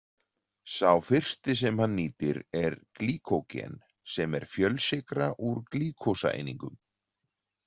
Sá fyrsti sem hann nýtir er glýkógen sem er fjölsykra úr glúkósaeiningum.